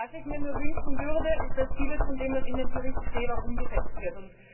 Was ich mir nur wünschen würde, ist, dass vieles von dem, was in dem Bericht steht, auch umgesetzt wird.